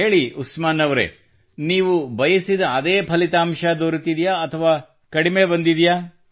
ಹೇಳಿ ಉಸ್ಮಾನ್ ಅವರೇ ನೀವು ಬಯಸಿದ ಅದೇ ಫಲಿತಾಂಶ ದೊರೆತಿದೆಯೇ ಅಥವಾ ಕಡಿಮೆ ಬಂದಿದೆಯೇ